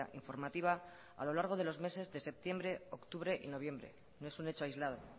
informativa a lo largo de los meses de septiembre octubre y noviembre no es un hecho aislado